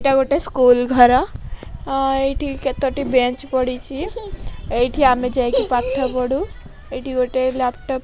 ଏଟା ଗୋଟେ ସ୍କୁଲ ଘର ଆଁ ଏଇଠି କେତୋଟି ବେଞ୍ଚ ପଡ଼ିଚି ଏଇଠିକି ଆମେ ଯାଇକି ପାଠ ପଢ଼ୁ ଏଇଠି ଗୋଟେ ଲାପଟପ୍